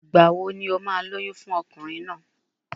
Ìgbà wo ni o máa lóyún fún ọkùnrin náà?